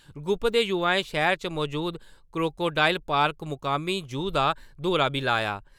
Group दे युवाएं शैह्‌र च मजूद क्रोकोडाइल पार्क मकामी जू दा दौरा बी लाया।